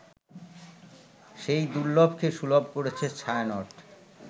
সেই দুর্লভকে সুলভ করেছে ছায়ানট